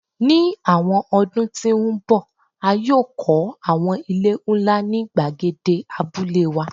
Ni awọn ọdun ti n bọ a yoo kọ awọn ile nla ni gbagede Abule wa